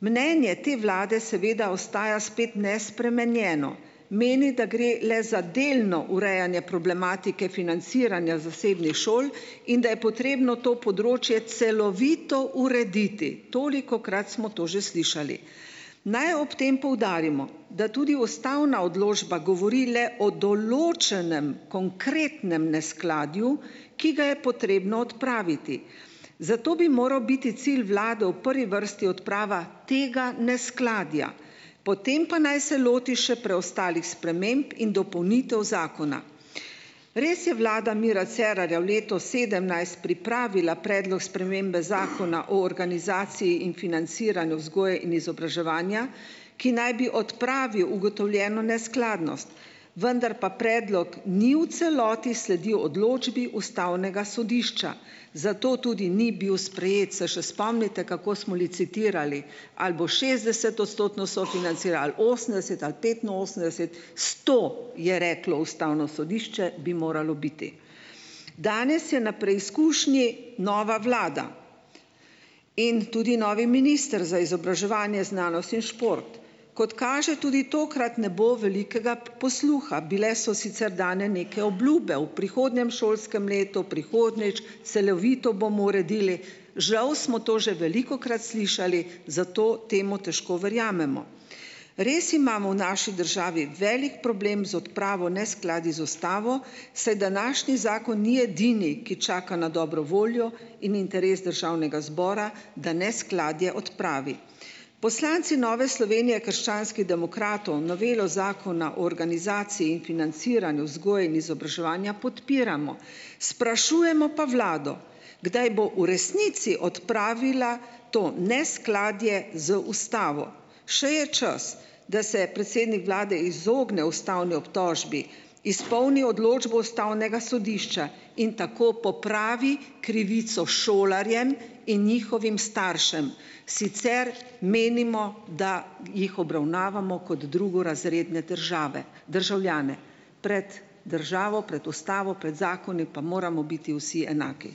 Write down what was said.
Mnenje te vlade seveda ostaja spet nespremenjeno. Meni, da gre le za delno urejanje problematike financiranja zasebnih šol in da je potrebno to področje celovito urediti. Tolikokrat smo to že slišali. Naj ob tem poudarimo, da tudi ustavna odločba govori le o določenem konkretnem neskladju, ki da je potrebno odpraviti, zato bi moral biti cilj vlade v prvi vrsti odprava tega neskladja, potem pa naj se loti še preostalih sprememb in dopolnitev zakona. Res je vlada Mira Cerarja v letu sedemnajst pripravila predlog spremembe Zakona o organizaciji in financiranju vzgoje in izobraževanja, ki naj bi odpravil ugotovljeno neskladnost, vendar pa predlog ni v celoti sledil odločbi ustavnega sodišča, zato tudi ni bil sprejet. Se še spomnite kako smo licitirali, ali bo šestdesetodstotno sofinancira, ali osemdeset, ali petinosemdeset, "sto" je reklo ustavno sodišče, bi moralo biti. Danes je na preizkušnji nova vlada in tudi novi minister za izobraževanje, znanost in šport. Kot kaže, tudi tokrat ne bo velikega posluha. Bile so sicer dane neke obljube ob prihodnjem šolskem letu, prihodnjič, "celovito bomo uredili" ... Žal smo to že velikokrat slišali, zato temu težko verjamemo. Res imamo v naši državi velik problem z odpravo neskladij z ustavo, saj današnji zakon ni edini, ki čaka na dobro voljo in interes državnega zbora, da neskladje odpravi. Poslanci Nove Slovenije, krščanskih demokratov, novelo Zakona o organizaciji in financiranju vzgoje in izobraževanja podpiramo. Sprašujemo pa vlado: "Kdaj bo v resnici odpravila to neskladje z ustavo?" Še je čas, da se predsednik vlade izogne ustavni obtožbi, izpolni odločbo ustavnega sodišča in tako popravi krivico šolarjem in njihovim staršem, sicer menimo, da jih obravnavamo kot drugorazredne državljane. Pred državo, pred ustavo, prej zakoni pa moramo biti vsi enaki.